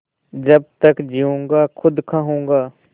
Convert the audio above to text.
जब तक जीऊँगा खुद खाऊँगा